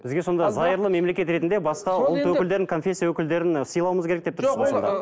бізге сонда зайырлы мемлекет ретінде басқа ұлт өкілдерін конфесия өкілдерін ы сыйлауымыз керек деп тұрсыз